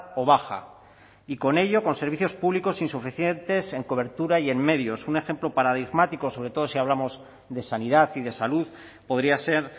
o baja y con ello con servicios públicos insuficientes en cobertura y en medios un ejemplo paradigmático sobre todo si hablamos de sanidad y de salud podría ser